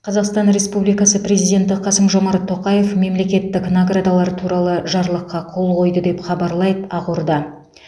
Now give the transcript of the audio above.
қазақстан республикасы президенті қасым жомарт тоқаев мемлекеттік наградалар туралы жарлыққа қол қойды деп хабарлайды ақорда